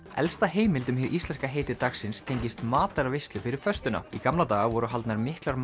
elsta heimild um hið íslenska heiti dagsins tengist matarveislu fyrir föstuna í gamla daga voru haldnar miklar